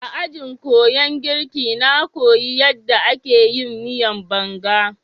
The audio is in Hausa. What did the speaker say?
A ajin kuyan girka na koyi yadda ake yin miyan Banga.